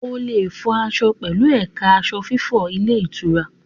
O lè fọ aṣọ pẹ̀lú ẹ̀ka aṣọ fífọ ilé ìtura.